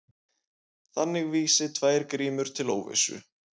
Þannig vísi tvær grímur til óvissu.